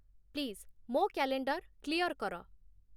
please ମୋ calendar clear କର